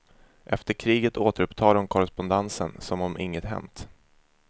Efter kriget återupptar de korrespondensen som om inget hänt.